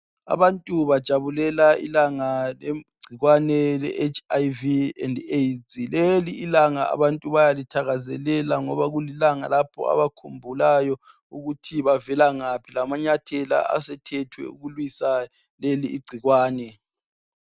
Abantu bajabulela ilanga legcikwane leHIV and AIDs. Lelilanga abantu bayalithakazelela ngoba kulilanga lapho abakhumbulayo ukuthi bavela ngaphi lamanyathela asethethwe ukulwisa leli ingcikwane.